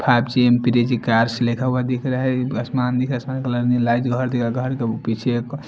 five G class लिखा हुआ दिख रहा है का--